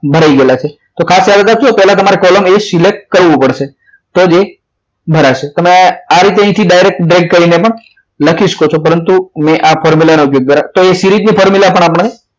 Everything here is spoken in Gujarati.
મળી ગયેલા છે તો ખાસ યાદ રાખજો select કરવાની કરવું પડશે તો જ એ ભરાશે તમે આ રીતે darg અહીંથી direct drag કરીને પણ લખી શકો છો પરંતુ મેં આ formula તો series ની formula પણ